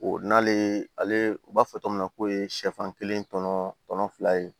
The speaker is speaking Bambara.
O n'ale ale b'a fɔ togo min na k'o ye sɛfan kelen tɔnɔ tɔnɔ fila ye